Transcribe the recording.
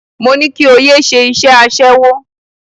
Mo ní kí o yé ṣe iṣẹ́ aṣẹ́wó.